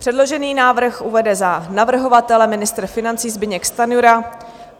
Předložený návrh uvede za navrhovatele ministr financí Zbyněk Stanjura.